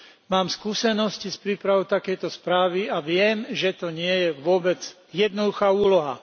Mám skúsenosti s prípravou takejto správy a viem, že to nie je vôbec jednoduchá úloha.